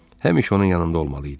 Həmişə onun yanında olmalı idi.